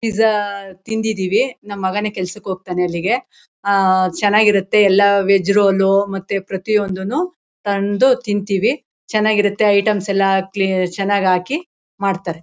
pizza ತಿಂದಿದೀವಿ ನಮ್ಮ ಮಗನೇ ಹೋಗ್ತಾನೆ ಕೆಲ್ಸಕ್ಕೆ ಅಲ್ಲಿಗೆ ಅಹ್ ಅಹ್ ಚೆನಾಗಿರುತ್ತೆ ಎಲ್ಲ ವೆಜ್ ರೋಲ್ ಮತ್ತೆ ಪ್ರತಿಒಂದುನೂ ತಂದು ತಿಂತೀವಿ ಚೆನಾಗಿರುತ್ತೆ ಐಟೆಮ್ಸ ಎಲ್ಲ ಚೆನ್ನಾಗಿ ಹಾಕಿ ಮಾಡ್ತಾರೆ